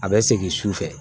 A bɛ segin su fɛ